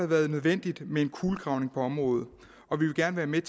været nødvendigt med en kulegravning på området og vi vil gerne være med